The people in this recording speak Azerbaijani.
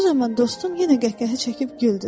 Bu zaman dostum yenə qəhqəhə çəkib güldü.